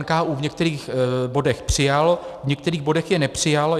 NKÚ v některých bodech přijal, v některých bodech je nepřijal.